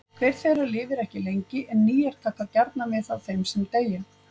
Hver þeirra lifir ekki lengi en nýjar taka gjarnan við af þeim sem deyja.